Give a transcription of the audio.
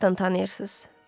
Nə vaxtdan tanıyırsız?